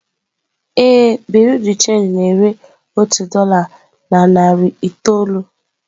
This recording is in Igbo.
Ee, bureau de change na-ere otu dolá na narị naira itoolu.